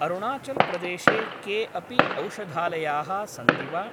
अरुणाचल् प्रदेशे के अपि औषधालयाः सन्ति वा?